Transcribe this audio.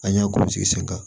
An y'a gosi sen kan